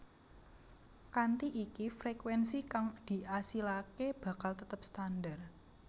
Kanthi iki frekuénsi kang diasilaké bakal tetep standar